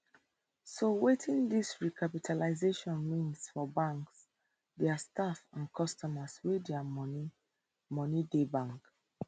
so wetin dis recapitalisation mean for banks dia staff and customers wey dia money money dey bank